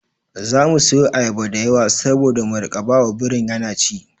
Za mu siyo ayaba da yawa saboda mu riƙa ba wa birin yana ci.